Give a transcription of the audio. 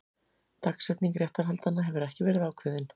Dagsetning réttarhaldanna hefur ekki verið ákveðin